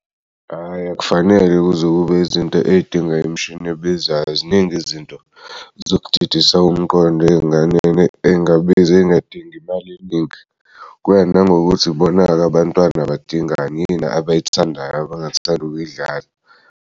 Hhayi akufanele kuze kube izinto ey'dingwa imishini ebizayo ziningi izinto zokdidisa umqondo ey'ngane engabizi ey'ngadingi imali eningi kuya nangokuthi bonake abantwana badingani yini abayithandayo abangathand'kuyidlala.